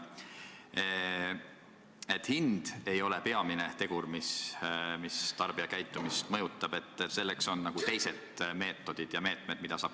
Te ütlesite, et hind ei ole peamine tegur, mis tarbijakäitumist mõjutab, et seda saab mõjutada teiste meetmetega.